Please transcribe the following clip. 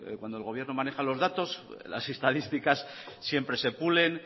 cuando el gobierno maneja los datos las estadísticas siempre se pulen